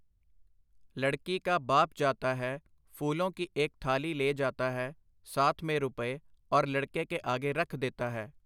ਲੜਕੀ ਕਾ ਬਾਪ ਜਾਤਾ ਹੈ, ਫੂਲੋਂ ਕੀ ਏਕ ਥਾਲੀ ਲੇ ਜਾਤਾ ਹੈ, ਸਾਥ ਮੇਂ ਰੁਪਏ, ਔਰ ਲੜਕੇ ਕੇ ਆਗੇ ਰਖ ਦੇਤਾ ਹੈ .